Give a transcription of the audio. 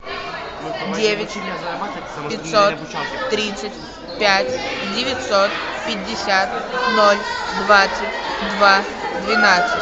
девять пятьсот тридцать пять девятьсот пятьдесят ноль двадцать два двенадцать